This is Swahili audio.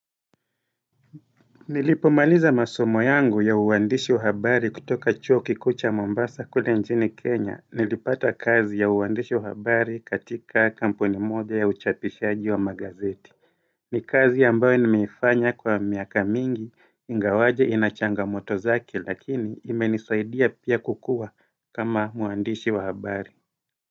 Nilipomaliza masomo yangu ya uwandishi wa habari kutoka chuo kikuu cha Mombasa kule njini Kenya Nilipata kazi ya uwandishi wa habari katika kampuni moja ya uchapishaji wa magazeti ni kazi ambayo nimeifanya kwa miaka mingi ingawaje ina changamoto zake lakini imenisaidia pia kukua kama uwandishi wa habari.